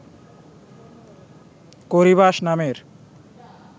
Corybas নামের